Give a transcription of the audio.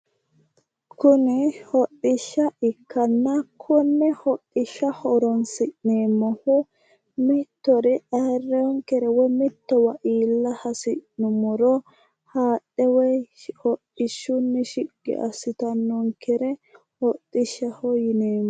Kuni hodhishsha ikkanna, kone hodhishsha horonsi'neeemmohu mittore ayiirinonkere mitowa ha'ne iilla hasi'nuummoro hodhishshunni shiqqi assittanonkere hodhishshaho yineemmo